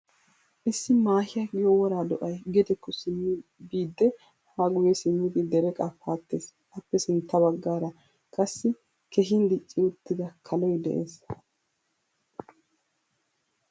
Issi maahiyaa giyo wora do"ay gedekko simmi biide ha guye simmidi dereqqa paatees. Appe sintta baggaara qassi keehin dicci uttida kaloy de'ees.